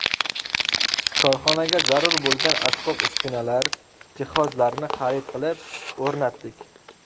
Korxonaga zarur bo‘lgan asbob-uskunalar, jihozlarni xarid qilib, o‘rnatdik.